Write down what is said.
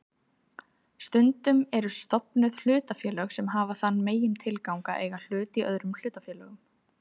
Stundum eru stofnuð hlutafélög sem hafa þann megintilgang að eiga hluti í öðrum hlutafélögum.